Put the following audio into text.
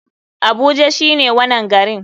Abuja shine wanan garin.